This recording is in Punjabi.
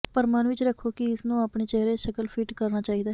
ਪਰ ਮਨ ਵਿੱਚ ਰੱਖੋ ਕਿ ਇਸ ਨੂੰ ਆਪਣੇ ਚਿਹਰੇ ਸ਼ਕਲ ਫਿੱਟ ਕਰਨਾ ਚਾਹੀਦਾ ਹੈ